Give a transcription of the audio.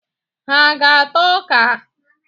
Ha aga-ata ọka?